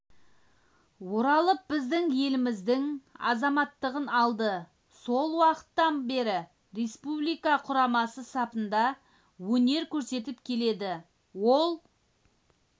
оралып біздің еліміздің азаматтығын алды сол уақыттан бері республика құрамасы сапында өнер көрсетіп келеді ол